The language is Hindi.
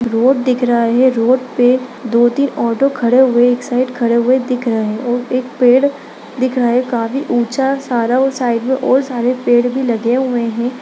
रोड दिख रहा है रोड पे दो-तीन ऑटो खड़े हुए एक साइड खड़े हुए दिख रहा हैं और एक पेड़ दिख रहा है काफी ऊँचा सारा साइड में और सारे पेड़ भी लगे हुए हैं।